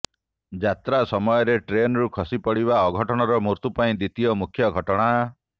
ଯାତ୍ରା ସମୟରେ ଟ୍ରେନରୁ ଖସିପଡ଼ିବା ଅଘଟଣର ମୃତ୍ୟୁ ପାଇଁ ଦ୍ୱିତୀୟ ମୁଖ୍ୟ ଘଟଣା